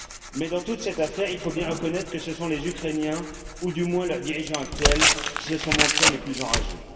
Mais, dans toute cette affaire, il faut bien reconnaître que ce sont les Ukrainiens, ou du moins leurs dirigeants actuels, qui se sont montrés les plus enragés.